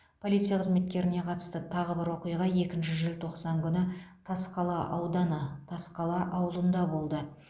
полиция қызметкеріне қатысты тағы бір оқиға екінші желтоқсан күні тасқала ауданы тасқала ауылында болды